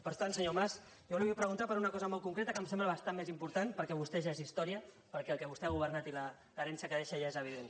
per tant senyor mas jo li vull preguntar per una cosa molt concreta que em sembla bastant més important perquè vostè ja és història perquè el que vostè ha governat i l’herència que deixa ja és evident